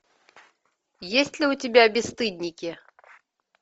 есть ли у тебя бесстыдники